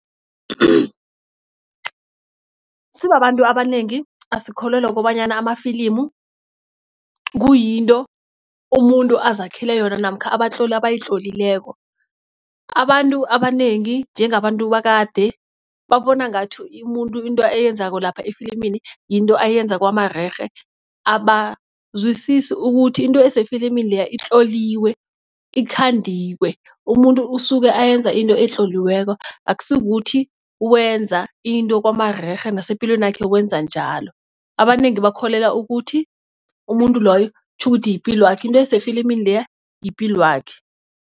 Sibabantu abanengi asikholelwa kobanyana amafilimu kuyinto umuntu azakhele yona namkha abatloli abayitlolileko. Abantu abanengi njengabantu bakade babona ngathi umuntu into ayenzako lapha efilimini yinto ayenza kwamarerhe abazwisisi ukuthi into esefilimini leya itloliswe ikhandiwe. Umuntu usuke ayenza into etloliweko akusikukuthi wenza into kwamarerhe nasepilweni yakhe wenza njalo, abanengi bakholelwa ukuthi umuntu loyo tjhukuthi yipilwakhe into esefilimini leya yipilwakhe.